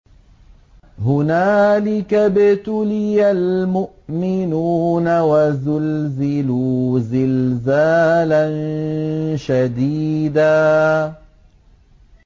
هُنَالِكَ ابْتُلِيَ الْمُؤْمِنُونَ وَزُلْزِلُوا زِلْزَالًا شَدِيدًا